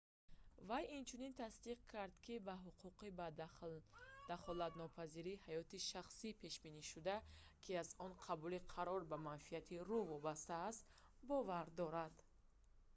вай инчунин тасдиқ кард ки ба ҳуқуқи ба дахолатнопазирии ҳаёти шахсӣ пешбинишуда ки аз он қабули қарор ба манфиати ру вобаста аст бовар дорад